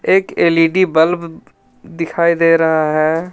एक L E D bulb दिखाई दे रहा है.